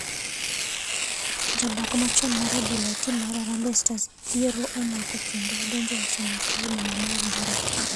Jabak machon mar adhula e tim mar harambee stars dhier omako kendo odonjoe uso maka e boma ma Eldoret.